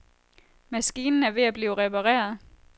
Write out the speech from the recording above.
Maskinen er ved at blive repareret.